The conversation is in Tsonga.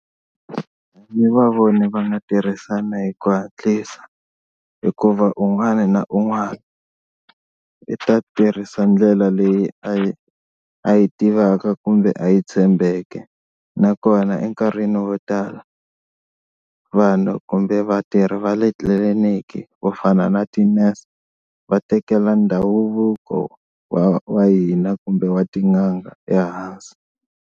Ni va voni va nga tirhisana hi ku hatlisa hikuva un'wani na un'wani i ta tirhisa ndlela leyi a yi a yi tivaka kumbe a yi tshembeke nakona enkarhini wo tala vanhu kumbe vatirhi va le tliliniki vo fana na ti-nurse va tekela ndhavuko wa wa hina kumbe wa tin'anga ehansi.